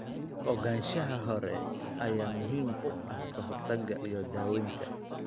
Ogaanshaha hore ayaa muhiim u ah ka hortagga iyo daaweynta.